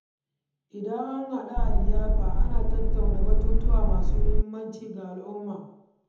Idan an haɗu a liyafa, ana tattauna batutuwa masu muhimmanci ga al’umma.